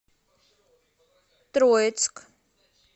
троицк